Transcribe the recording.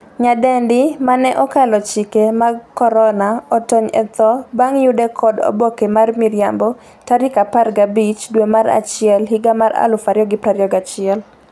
nyadendi mane 'okalo chike mag korona' otony e tho bang' yude kod oboke mar miriambo tarik 15 dwe mar achiel higa mar 2021